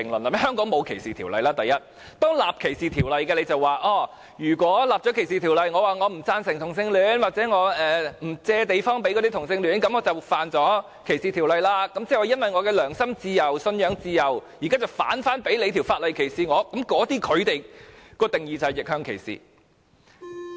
第一，香港沒有歧視條例，當制定歧視條例後，如果有人表示不贊成同性戀或不租借地方給同性戀者，便觸犯歧視條例，那麼他由於其良心自由、信仰自由，現在反被法例所歧視，這便是逆向歧視。